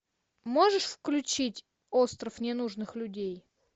можешь включить остров ненужных людей